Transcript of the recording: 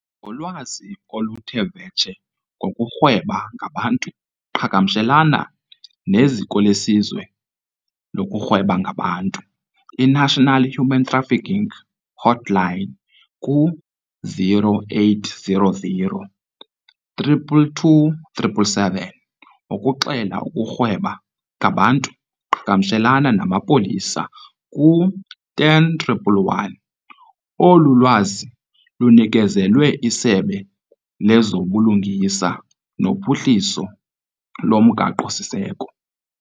Ngolwazi oluthe vetshe ngokurhweba ngabantu qhagamshelana nezikolesizwe lokurhweba ngabantu, i-National Human Trafficking Hotline, ku- 0800 222 777. Ukuxela ukurhweba ngabantu qhagamshelana namapolisa ku- 10111. Olu lwazi lunikezelwe iSebe lezobuLungisa noPhuhliso loMgaqo-siseko.